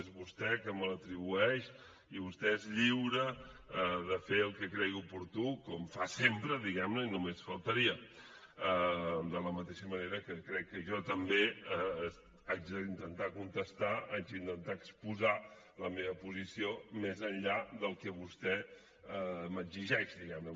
és vostè que me l’atribueix i vostè és lliure de fer el que cregui oportú com fa sempre diguem ne i només faltaria de la mateixa manera que crec que jo també haig d’intentar contestar haig d’intentar exposar la meva posició més enllà del que vostè m’exigeix diguem ne